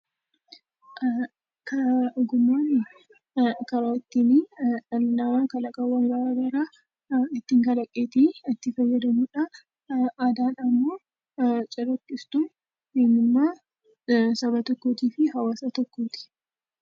Ogummaa jechuun karaa ittiin kalaqa garaa garaa ittiin kalaqatee itti fayyadamuudha. Aadaa jechuun immoo calaqqistuu eenyummaa Saba tokkootii fi haawwaasa tokkooti.